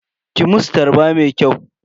Ki musu tarba mai kyau.